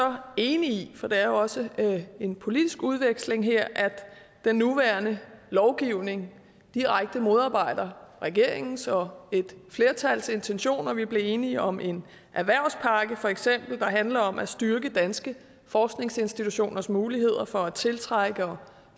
så enig i for der er jo også en politisk udveksling her at den nuværende lovgivning direkte modarbejder regeringens og et flertals intentioner vi er blevet enige om en erhvervspakke feks der handler om at styrke danske forskningsinstitutioners muligheder for at tiltrække og